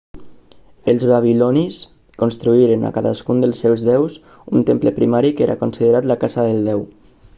els babilonis construïren a cadascun dels seus déus un temple primari que era considerat la casa del déu